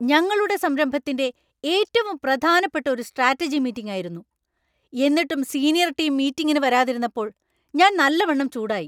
ഞങ്ങളുടെ സംരഭത്തിൻ്റെ ഏറ്റവും പ്രധാനപ്പെട്ട ഒരു സ്ട്രാറ്റജി മീറ്റിങ് ആയിരുന്നു; എന്നിട്ടും സീനിയർ ടീം മീറ്റിങ്ങിന് വരാതിരുന്നപ്പോൾ ഞാൻ നല്ലവണ്ണം ചൂടായി.